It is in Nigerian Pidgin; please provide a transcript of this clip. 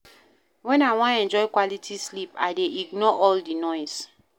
Wen I wan enjoy quality sleep, I dey ignore all di noise.